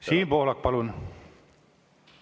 Siim Pohlak, palun!